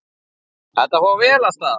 Þetta fór vel af stað.